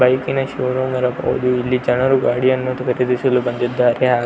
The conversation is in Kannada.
ಬೈಕ್ ನ ಶೋರೂಮ್ ನ್ನು ನೋಡಿ ಇಲ್ಲಿ ಜನರು ಗಾಡಿಯನ್ನು ಖರೀದಿಸಲು ಬಂದಿದ್ದಾರೆ --